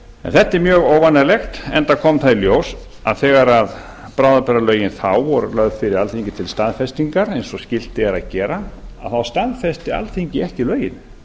en þetta er mjög óvanalegt enda kom það í ljós að þegar bráðabirgðalögin þá voru lögð fyrir alþingi til staðfestingar eins og skylt er að gera þá staðfesti alþingi ekki lögin